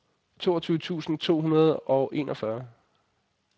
toogtyve tusind to hundrede og enogfyrre